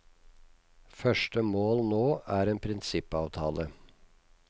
Første mål nå er en prinsippavtale.